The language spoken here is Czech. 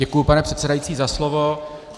Děkuji, pane předsedající, za slovo.